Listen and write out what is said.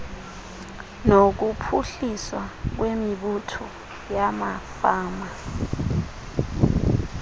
nokuphuhliswa kwemibutho yamafama